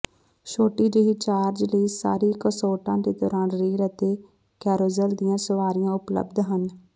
ਛੋਟੀ ਜਿਹੀ ਚਾਰਜ ਲਈ ਸਾਰੇ ਕੰਸੋਰਟਾਂ ਦੇ ਦੌਰਾਨ ਰੇਲ ਅਤੇ ਕੈਰੋਜ਼ਲ ਦੀਆਂ ਸਵਾਰੀਆਂ ਉਪਲਬਧ ਹਨ